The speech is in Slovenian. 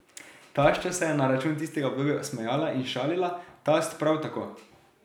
Tašča se je na račun tistega obdobja smejala in šalila, tast prav tako.